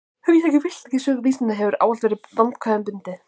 Hugtakið bylting í sögu vísinda hefur ávallt verið vandkvæðum bundið.